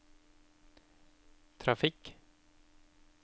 trafikk